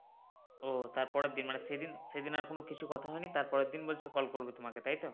ও তারপরের দিন মানে সেদিন সেদিন আর কোনো কিছু কথা হয়নি তার পরের দিন বলছে call করবে তোমাকে তাই তো?